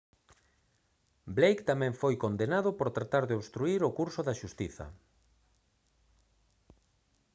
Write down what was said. blake tamén foi condenado por tratar de obstruír o curso da xustiza